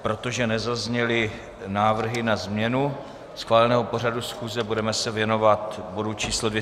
Protože nezazněly návrhy na změnu schváleného pořadu schůze, budeme se věnovat bodu číslo